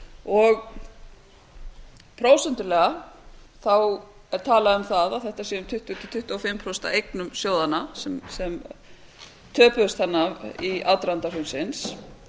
og prósentulega er talað um það að þetta sé um tuttugu til tuttugu og fimm prósent af eignum sjóðanna sem töpuðust þarna í aðdraganda hrunsins